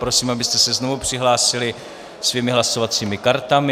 Prosím, abyste se znovu přihlásili svými hlasovacími kartami.